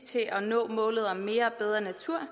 til at nå målet om mere og bedre natur